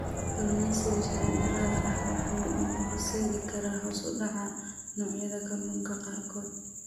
Kalluumeysiga sharci darrada ah wuxuu u horseedi karaa hoos u dhaca noocyada kalluunka qaarkood.